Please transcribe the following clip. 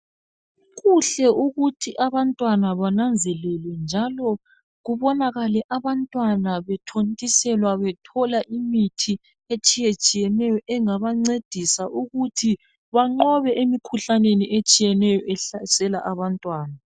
kuhle ukuthi abantwana bananzelele njalo kubonakale abantwana bethontiselwa bethola imithi etshiyetshieneyo engabancedisa ukuthi banqobe emikhuhlanei etshiyeneyo ehlasela abantwana